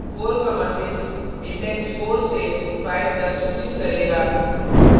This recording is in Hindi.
46 index 4 से 5 तक सूचित करेगा